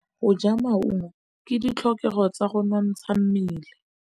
Go ja maungo ke ditlhokegô tsa go nontsha mmele.